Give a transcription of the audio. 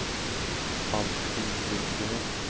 Alfhild Lundgren